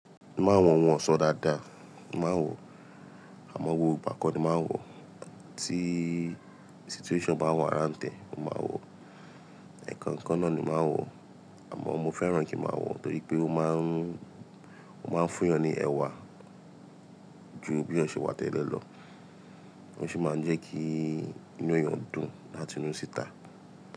Máa ń wọ̀n wọn ọ̀ṣọ́ dáadáa, máa ń wọ̀, àmọ́ wò bákan ni màá ń wọ̀. Tí situation bá warrant tẹ̀, mo máa wọ̀, ẹ̀ẹ̀kan kan náà ni màá ń wọ̀. Àmọ́ mo fẹ́ràn kí màá wọ̀ torí pé ó máa ń, ó máa ń fún yàn ní ẹwà jù bí yan ṣe wà tẹ́lẹ̀ lọ. Ó sì máa ń jẹ́ kí inú eeyàn dùn látinú síta.